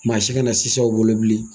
Mansin bɛna sinsin aw bolo bilen.